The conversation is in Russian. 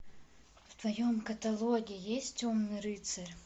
в твоем каталоге есть темный рыцарь